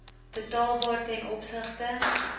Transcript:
betaalbaar ten opsigte